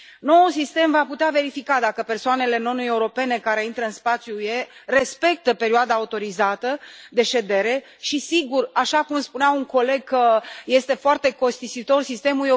Noul sistem va putea verifica dacă persoanele non europene care intră în spațiul UE respectă perioada autorizată de ședere și, sigur că, așa cum spunea un coleg, este foarte costisitor sistemul.